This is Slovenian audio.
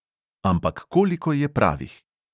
Ampak koliko je pravih?